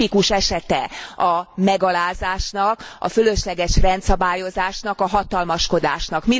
Tipikus esete a megalázásnak, a fölösleges rendszabályozásnak, a hatalmaskodásnak.